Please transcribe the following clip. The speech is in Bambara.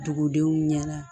Dugudenw ɲɛna